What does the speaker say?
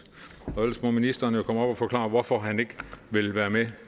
og ellers må ministeren jo komme op og forklare hvorfor han ikke vil være med